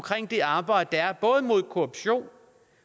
det arbejde der er både imod korruption